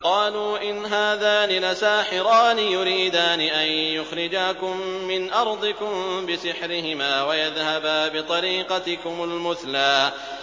قَالُوا إِنْ هَٰذَانِ لَسَاحِرَانِ يُرِيدَانِ أَن يُخْرِجَاكُم مِّنْ أَرْضِكُم بِسِحْرِهِمَا وَيَذْهَبَا بِطَرِيقَتِكُمُ الْمُثْلَىٰ